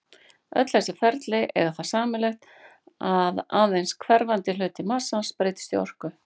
Öll þessi ferli eiga það sameiginlegt að aðeins hverfandi hluti massans breytist í orku.